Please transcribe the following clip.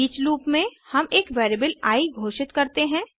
each loop में हम एक वेरिएबल आई घोषित करते हैं